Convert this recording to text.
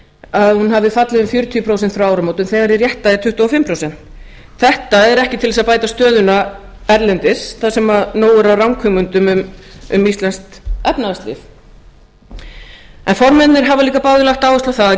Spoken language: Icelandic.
að hún hafi fallið um fjörutíu prósent frá áramótum þegar hið rétta er tuttugu og fimm prósent þetta er ekki til þess að bæta stöðuna erlendis þar sem nóg er af ranghugmyndum um íslenskt efnahagslíf formennirnir hafa líka báðir lagt áherslu á það að